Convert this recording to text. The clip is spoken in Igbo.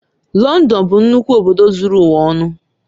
Lọndọn bụ nnukwu obodo zuru ụwa ọnụ